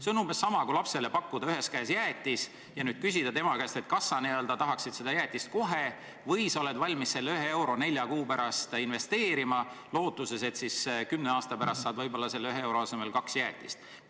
See on umbes sama, kui lapsele pakkuda ühe käega jäätist ja küsida tema käest, kas sa tahad seda jäätist kohe või sa oled valmis selle 1 euro nelja kuu pärast investeerima lootuses, et kümne aasta pärast saad võib-olla selle 1 euro asemel kaks jäätist.